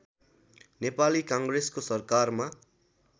नेपाली काङ्ग्रेसको सरकारमा